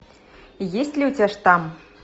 есть ли у тебя штамм